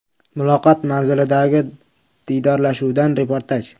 “Muloqot” manzilidagi diydorlashuvdan reportaj.